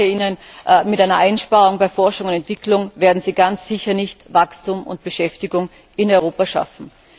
Ich sage Ihnen Mit einer Einsparung bei Forschung und Entwicklung werden Sie ganz sicher nicht Wachstum und Beschäftigung in Europa schaffen.